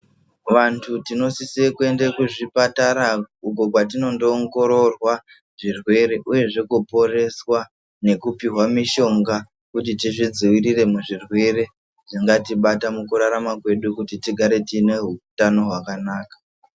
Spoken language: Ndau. Vantu tinosise kuende kuzvipatara uko kwatinondoongororwa zvirwere uyezve kuporeswa nekupihwa mishonga kuti tizvidzivirire muzvirwere zvingatibata mukurarama kwedu kuti tigare tiine hutano hwakanaka.